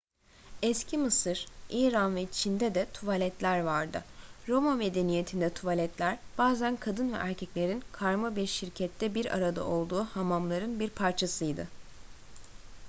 eski mısır i̇ran ve çin'de de tuvaletler vardı. roma medeniyetinde tuvaletler bazen kadın ve erkeklerin karma bir şirkette bir arada olduğu hamamların bir parçasıydı